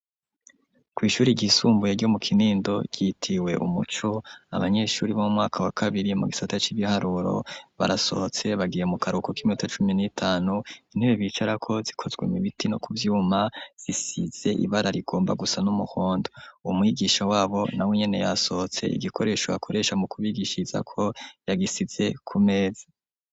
Kw'ishuri ryisumbuye, ryo mu Kinindo, ryitiriwe umuco, abanyeshuri bo mwaka wa kabiri, mu gisata c'ibiharuro, barasohotse, bagiye mu karuko, k'iminota cumi n'itanu; intebe bicarako zikozwe mu biti no ku vyuma, zisize ibara rigomba gusa n'umuhondo; umwigisha wabo, nawe nyene, yasohotse; igikoresho akoresha mu kubigishirizako, yagisize ku meza.